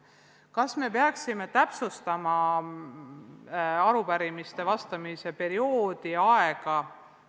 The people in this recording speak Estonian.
Kas me peaksime täpsustama arupärimistele vastamise perioodi ja aega?